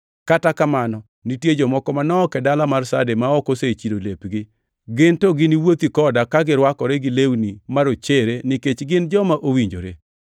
Kata kamano nitie jomoko manok e dala mar Sarde ma ok osechido lepgi. Gin to gini wuothi koda ka girwakore gi lewni marochere nikech gin joma owinjore.